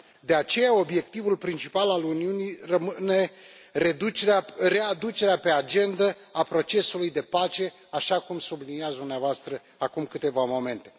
De aceea, obiectivul principal al Uniunii rămâne readucerea pe agendă a procesului de pace, așa cum subliniați dumneavoastră acum câteva momente.